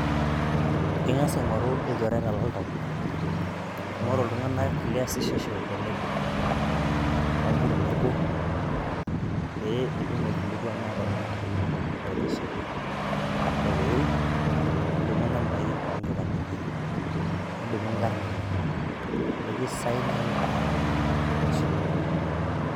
Ing'asa aing'oru ilchoreta loltau, ing'óru iltung'anak liasishosho tenebo, te nkambuni nabo pee itum aikilikuana tenaa kekitumoki aitasheki. Ore peeiruk nidumu nambai o nkipandeni enye, nidumu nkaarn enye nikisignaki ajoki kekipuo apuo aitasheki.